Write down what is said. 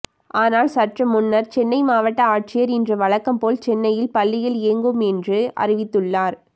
ஆனால் சற்று முன்னர் சென்னை மாவட்ட ஆட்சியர் இன்று வழக்கம் போல் சென்னையில் பள்ளிகள் இயங்கும் என அறிவித்துள்ளார்